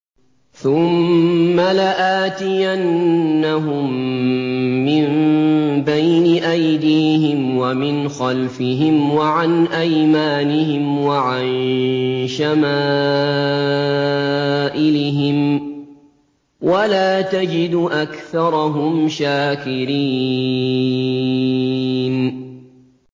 ثُمَّ لَآتِيَنَّهُم مِّن بَيْنِ أَيْدِيهِمْ وَمِنْ خَلْفِهِمْ وَعَنْ أَيْمَانِهِمْ وَعَن شَمَائِلِهِمْ ۖ وَلَا تَجِدُ أَكْثَرَهُمْ شَاكِرِينَ